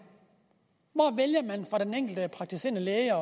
hvor vælger den enkelte praktiserende læge eller